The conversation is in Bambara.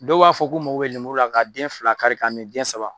Dɔw b'a fɔ k'u mako be lemuru la ka den fila kari ka mi den saba.